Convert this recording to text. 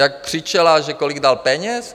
Jak křičela, že kolik dal peněz?